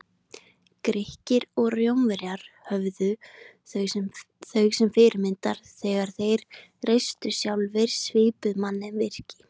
Grikkir og Rómverjar höfðu þau sem fyrirmyndir þegar þeir reistu sjálfir svipuð mannvirki.